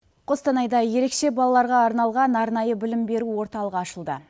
қостанайда ерекше балаларға арналған арнайы білім беру орталығы ашылды